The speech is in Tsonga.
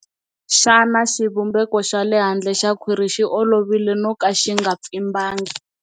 Xana xivumbeko xa le handle xa khwiri xi olovile no ka xi nga pfimbangi?